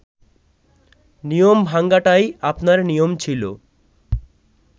নিয়ম ভাঙাটাই আপনার নিয়ম ছিল